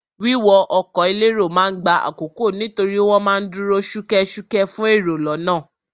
Wíwọ ọkọ̀ elérò ma ń gba àkókò nítorí wọ́n ma ń dúró ṣúkẹ́ṣúkẹ́ fún èrò lọ́nà.